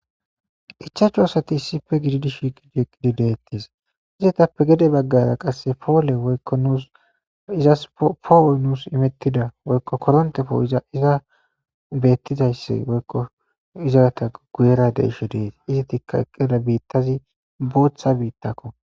Ichachu asati issife gidi dishi qidi eqqidi deettis izetappe gede baggara qasse poole woykko nus izas poohoy nuus imettida woykko koronte poo iza beettizayssi woykko izagata guyera de ishe dees izitikka eqqida biittazi booththa biittakko